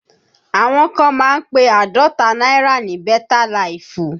Àwọn kan máa ń pe Àádọ́ta náírà ní beta laifu